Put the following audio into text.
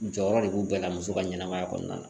Jɔyɔrɔ de b'u bɛɛ la muso ka ɲɛnɛmaya kɔnɔna